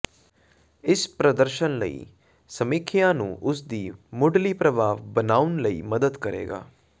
ਇਸ ਪ੍ਰਦਰਸ਼ਨ ਲਈ ਸਮੀਖਿਆ ਨੂੰ ਉਸ ਦੀ ਮੁਢਲੀ ਪ੍ਰਭਾਵ ਬਣਾਉਣ ਲਈ ਮਦਦ ਕਰੇਗਾ